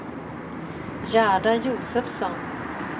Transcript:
Gerda Josefsson